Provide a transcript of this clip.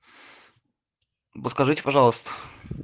подскажите пожалуйста